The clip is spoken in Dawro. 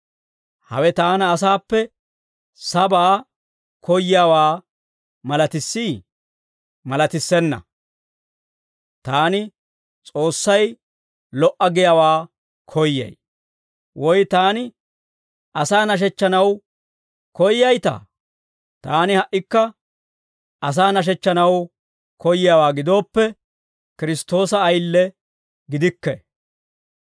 Hawe taana asaappe sabaa koyyiyaawaa malatissii? Malatissenna! Taani S'oossay lo"a giyaawaa koyyay. Woy taani asaa nashechchanaw koyyaytaa? Taani ha"ikka asaa nashechchanaw koyyiyaawaa gidooppe, Kiristtoosa ayile gidikke.